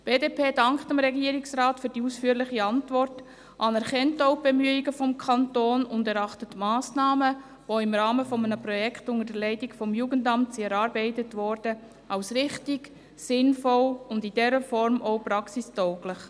Die BDP dankt dem Regierungsrat für die ausführliche Antwort, anerkennt auch die Bemühungen des Kantons und erachtet die Massnahmen, die im Rahmen eines Projekts unter der Leitung des Jugendamts erarbeitet wurden, als richtig, sinnvoll und in dieser Form auch als praxistauglich.